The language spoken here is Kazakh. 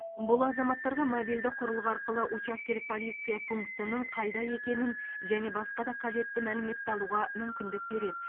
бұл азаматтарға мобильді құрылғы арқылы учаскелік полиция пунктінің қайда екенін және басқа да қажетті мәліметті алуға мүмкіндік береді